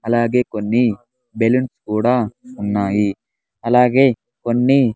అలాగే కొన్ని బెలూన్స్ కూడా ఉన్నాయి అలాగే కొన్ని.